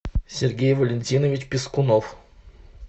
сергей валентинович пискунов